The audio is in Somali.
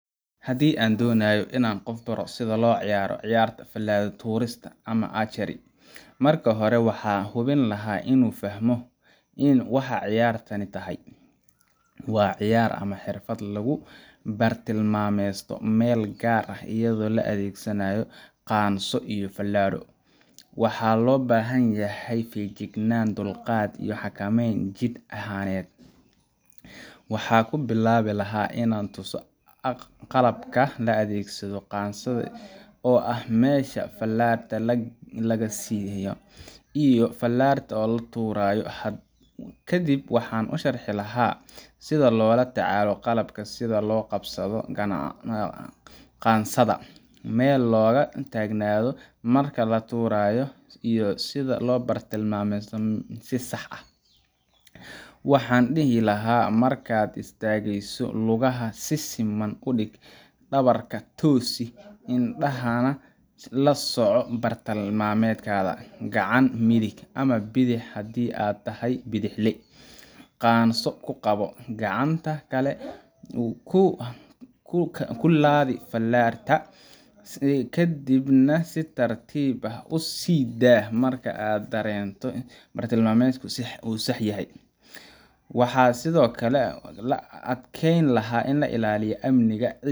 Handi aa donayo Ina qoof baroh setha lo ciyaaroh ciyaar hada falaga tuurista amah aa jeren, marka hori waxa hubin lahaa inu fahamoh ini waxa ciyaarta tahay wa ciyaar amah xerfad lagu bartimameystay meel gaar aah iyado la adegsanayo qaanso iyo falagat waxa lo bahanyahay fegjiknana dulqaat iyo xakameeyn jid ahaaneet waxa kubilawi lahay Ina tuusoh qalabka la adegsadoh qansada oo aah mesha falarta laga siiyoh iyo falarta oo la tuurayo kadib waxa u sharxi lahaaa setha lolatacaloh qalabka setha lo qansada qansada meel loga tagnathaoh marka latuuroh iyo setha lo bartimameysathoh sibsax aah, waxan dehi lahay markat istageeysoh lugaha si seman u deeg dawarka tooseh indaha lasocoh bartimametgatha kacanta methik amah bithex handi aa tahay bethexlee qansoo kuqabo kacanta Kali kulabeh filartaa si kadibnah si tartiib u siidah marka aad bartimametku oo saax yahay , waxasithokali la adgeylahay Ina la ilaliyoh amnika.